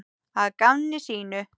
Að gamni sínu?